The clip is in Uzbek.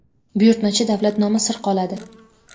buyurtmachi davlat nomi sir qoladi.